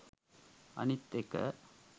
අනිත් එක